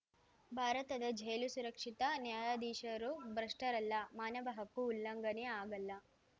ಭಾರತದ ಜೈಲು ಸುರಕ್ಷಿತ ನ್ಯಾಯಾಧೀಶರು ಭ್ರಷ್ಟರಲ್ಲ ಮಾನವ ಹಕ್ಕು ಉಲ್ಲಂಘನೆ ಆಗಲ್ಲ